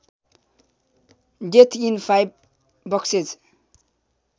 death in five boxes